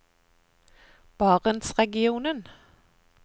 barentsregionen